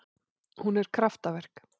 Hún er kraftaverk